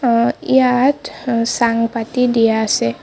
অ ইয়াত অ চাং পাতি দিয়া আছে।